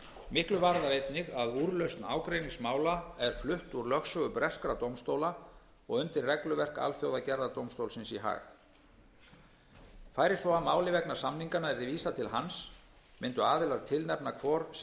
miklu varðar einnig að úrlausn ágreiningsmála er flutt úr lögsögu breskra dómstóla og undir regluverk alþjóðagerðardómstólsins í haag fari svo að máli vegna samninganna verði vísað til hans munu aðilar tilnefna hvor sinn